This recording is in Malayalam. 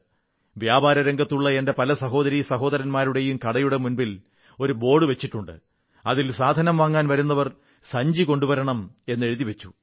വ്യാപാരരംഗത്തുള്ള എന്റെ പല സഹോദരീ സഹോദരൻമാരും കടയുടെ മുന്നിൽ ഒരു ബോർഡു വച്ചിട്ടുണ്ട് അതിൽ സാധനം വാങ്ങാൻ വരുന്നവർ സഞ്ചി കൊണ്ടുവരണം എന്ന് എഴുതി വച്ചു